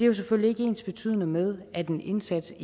jo selvfølgelig ikke ensbetydende med at en indsats